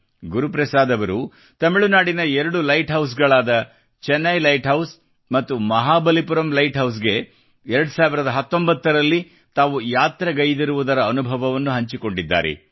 ಗುರು ಪ್ರಸಾದ್ ಅವರು ತಮಿಳು ನಾಡಿನ 2 ಲೈಟ್ ಹೌಸ್ಗಳಾದ ಚೆನ್ನೈ ಲೈಟ್ ಹೌಸ್ ಮತ್ತು ಮಹಾಬಲಿಪುರಂ ಲೈಟ್ ಹೌಸ್ಗೆ 2019 ರಲ್ಲಿ ತಾವು ಯಾತ್ರೆ ಗೈದಿರುವುದರ ಅನುಭವವನ್ನು ಹಂಚಿಕೊಂಡಿದ್ದಾರೆ